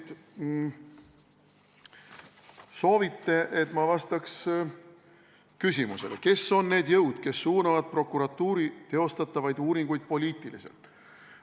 Te soovite, et ma vastaks küsimusele, kes on need jõud, kes suunavad prokuratuuri teostatavaid uuringuid poliitiliselt.